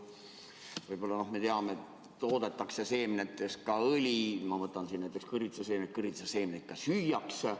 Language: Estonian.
Võib-olla, noh, me teame, et toodetakse seemnetest ka õli, ma võtan siin näiteks kõrvitsaseemned, kõrvitsaseemneid ka süüakse.